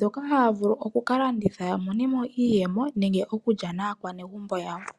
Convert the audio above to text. Dhoka haya vulu oku landitha ya monemo iiyemo nenge okulya naakwanegumbo lyawo.